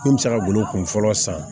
Min bɛ se ka golo kunfɔlɔ san